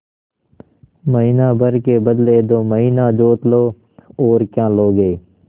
महीना भर के बदले दो महीना जोत लो और क्या लोगे